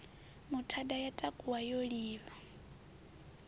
muthada ya takuwa yo livha